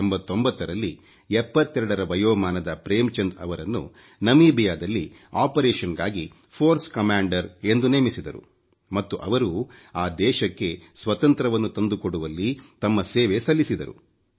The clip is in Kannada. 1989ರಲ್ಲಿ 72ರ ವಯೋಮಾನದ ಪ್ರೇಮ್ ಚಂದ್ ಅವರನ್ನು ನಮಿಬಿಯಾದಲ್ಲಿ ಆಪರೇಶನ್ ಗಾಗಿ ಫೋರ್ಸ್ ಕಮಾಂಡರ್ ಎಂದು ನೇಮಿಸಿದರು ಮತ್ತು ಅವರು ಆ ದೇಶಕ್ಕೆ ಸ್ವತಂತ್ರವನ್ನು ತಂದುಕೊಡುವಲ್ಲಿ ತಮ್ಮ ಸೇವೆ ಸಲ್ಲಿಸಿದರು